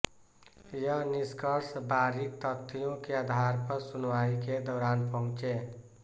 यह निष्कर्ष बारीक तथ्यों के आधार पर सुनवाई के दौरान पहुंचे